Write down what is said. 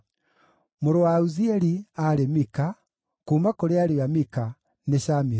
Mũrũ wa Uzieli: aarĩ Mika; kuuma ariũ a Mika: nĩ Shamiru.